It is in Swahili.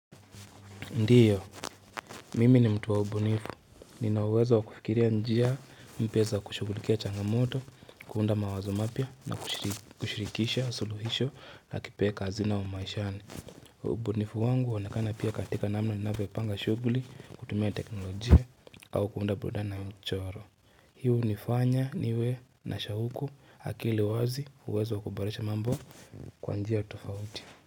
Ndiyo, mimi ni mtu wa ubunifu, ninauwezo wakufikiria njia mbio za kushughulikia changamoto, kuunda mawazo mapya na kushirikisha suluhisho na kipeka hazina wa maishani. Ubunifu wangu huonekana pia katika namna ninavyopanga shughuli, kutumia teknolojia, au kuunda burudani na mchoro. Hii hunifanya niwe na shauku akili wazi uwezo wa kuboresha mambo kwa njia tofauti.